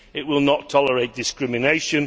it will not tolerate discrimination